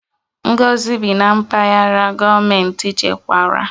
Ngozi bi na Mpaghara gọọmentị chekwara